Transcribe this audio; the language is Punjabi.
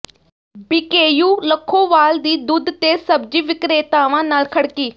ਬੀਕੇਯੂ ਲੱਖੋਵਾਲ ਦੀ ਦੁੱਧ ਤੇ ਸਬਜ਼ੀ ਵਿਕਰੇਤਾਵਾਂ ਨਾਲ ਖੜਕੀ